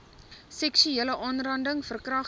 seksuele aanranding verkragting